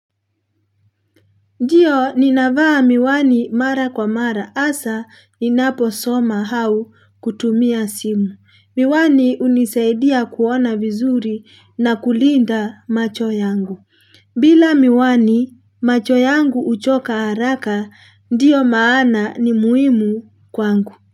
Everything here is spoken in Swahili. Ndiyo, ninavaa miwani mara kwa mara. Hasa, ninapo soma au kutumia simu. Miwani hunisaidia kuona vizuri na kulinda macho yangu. Bila miwani macho yangu huchoka haraka, ndiyo maana ni muhimu kwangu.